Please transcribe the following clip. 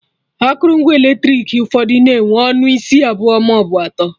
Akụrụngwa eletrik ụfọdụ na-enwe ọnụ isi abụọ maọbụ atọ